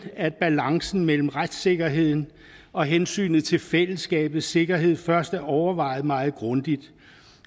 at balancen mellem retssikkerheden og hensynet til fællesskabets sikkerhed først er overvejet meget grundigt